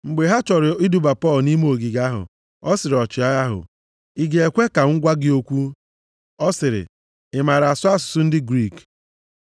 Mgbe ha chọrọ iduba Pọl nʼime ogige ahụ, ọ sịrị ọchịagha ahụ, “Ị ga-ekwe ka m gwa gị okwu?” Ọ sịrị, “I maara asụ asụsụ ndị Griik?